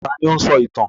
Ta ni ó ń sọ ìtàn?